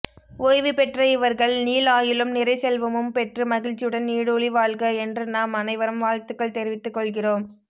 ஓய்வுபெற்ற இவர்கள் நீள் ஆயுளும் நிறைசெல்வமும் பெற்று மகிழ்ச்சியுடன் நீடுழிவாழ்க என்று நாம் அனைவரும் வாழ்த்துக்கள் தெரிவித்துக்கொள்கிறோம்